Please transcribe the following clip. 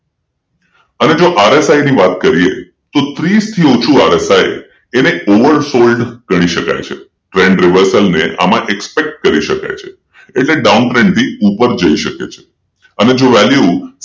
અને જો RSI ની વાત કરીએ તો ત્રીસ થી ઓછું RSI Oversold ગણી શકાય છે Trend reversal expect કરી શકાય છે એટલે Downtrend પણ ઉપર જઈ શકે છે અને જો value